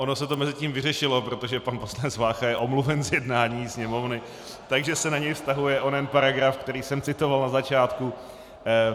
Ono se to mezitím vyřešilo, protože pan poslanec Vácha je omluven z jednání Sněmovny, takže se na něj vztahuje onen paragraf, který jsem citoval na začátku.